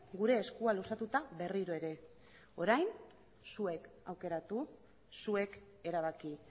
gure eskua luzatuta berriro ere orain zuek aukeratu zuek erabaki